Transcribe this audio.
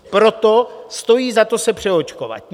Proto stojí za to se přeočkovat.